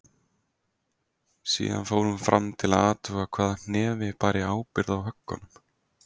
Síðan fór hún fram til að athuga hvaða hnefi bæri ábyrgð á höggunum.